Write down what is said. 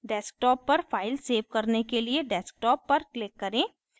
desktop पर file save करने के लिए desktop पर click करें